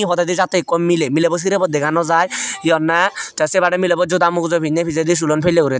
podedi jattey ikko miley milebo sirobo dega naw jai hi honney tey sebadey milebo joda mugujo pinney pijedi sulon pelley guri tey.